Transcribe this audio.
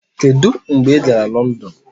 Kedu mgbe ị gara London?